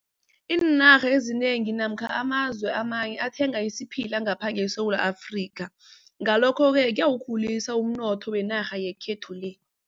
Iinarha ezinengi namkha amazwe amanye athenga isiphila ngapha ngeSewula Afrika. Ngalokho-ke kuyawukhulisa umnotho wenarha yekhethu le.